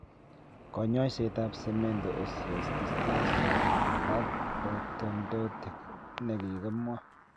Konyoiset ap cemento osseous dysplasia ag Orthodontic. Negi gimwa.